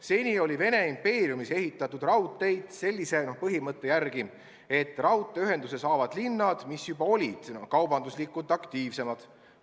Seni oli Vene impeeriumis ehitatud raudteid sellise põhimõtte järgi, et raudteeühenduse saavad need linnad, mis juba olid kaubanduslikult aktiivsemad.